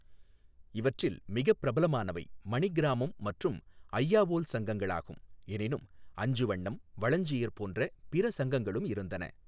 இவற்றில் மிகப் பிரபலமானவை மணிகிராமம் மற்றும் அய்யாவோல் சங்கங்களாகும், எனினும் அஞ்சுவண்ணம், வளஞ்சியர் போன்ற பிற சங்கங்களும் இருந்தன.